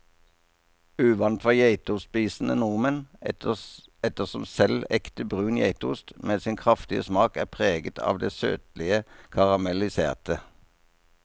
Uvant for geitostspisende nordmenn, ettersom selv ekte brun geitost med sin kraftige smak er preget av det søtlige karamelliserte.